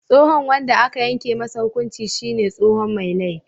Tsohon wanda aka yanke masa hukunci shine tsohon Mai laifi.